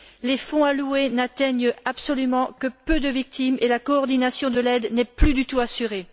Les fonds alloués n'atteignent absolument que peu de victimes, et la coordination de l'aide n'est plus du tout assurée.